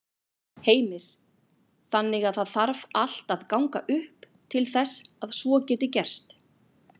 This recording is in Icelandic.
Heimir: Þannig að það þarf allt að ganga upp til þess að svo geti gerst?